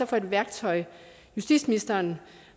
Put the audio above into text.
for et værktøj justitsministeren